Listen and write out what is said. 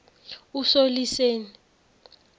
usoliseni